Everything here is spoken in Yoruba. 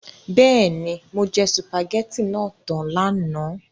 Bẹ́ẹ̀ni, mo jẹ sùpàgẹ́tì náà tan lánàá.